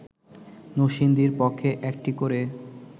নরসিংদীর পক্ষে একটি করে